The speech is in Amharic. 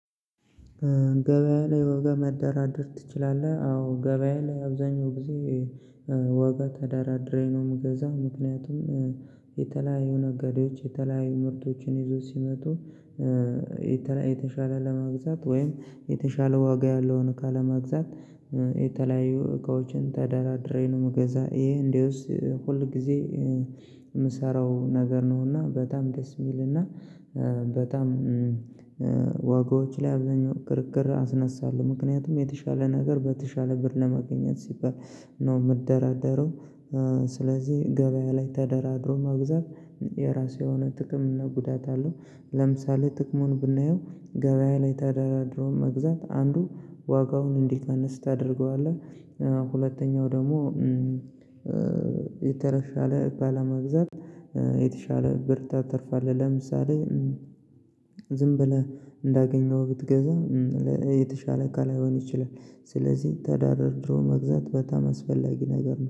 ገበያ ላይ ዋጋ መደራደር ትችላለህ? አዎ ገበያ ላይ አብዛኛው ጊዜ ዋጋ ተደራድሬ ነው የምገዛው። ምክንያቱም የተለያዩ ነጋዴዎች የተለያዩ ምርቶችን ይዞ ሲመጡ የተሻለ ለመግዛት ወይም የተሻለ ዋጋ ያለውን እቃ ለመግዛት የተለያዩ እቃዎችን ተደራድሬ ነው የምገዛ። ይሄ እንደውስ ሁል ጊዜ የምሰራው ነገር ነውና በጣም ደስ የሚልና በጣም ዋጋዎች ላይ አብዛኛው ክርክር አስነሳለሁ ምክንያቱም የተሻለ ነገር በተሻለ ብር ለማግኘት ሲባል ነው የምደራደረው ስለዚህ ገበያ ላይ ተደራድሮ መግዛት የራሱ የሆነ ጥቅም እና ጉዳት አለው። ለምሳሌ ጥቅሙን ብናየው ገበያ ላይ ተደራድሮ መግዛት አንዱ ዋጋውን እንዲቀንስ ታደርገዋለህ ሁለተኛው ደግሞ የተሻለ ባለመግዛት የተሻለ ብርታ ትርፋለህ። ለምሳሌ ዝም ብለህ እንዳገኘው ብትገዛ የተሻለ ካልሆን ይችላል ስለዚህ ተደራድሮ መግዛት በጣም አስፈላጊ ነገር ነው።